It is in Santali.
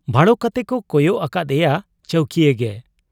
ᱵᱷᱟᱲᱚ ᱠᱟᱛᱮᱠᱚ ᱠᱚᱭᱚᱜ ᱟᱠᱟᱫ ᱮᱭᱟ ᱪᱟᱹᱣᱠᱤᱭᱟᱹ ᱜᱮ ᱾